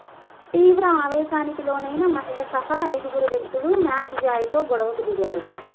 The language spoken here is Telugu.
తీవ్ర ఆవేశానికి లోనైన మహిళ సహా ఐదుగురు వ్యక్తులు మ్యాక్స్ జాయ్తో గొడవకు దిగారు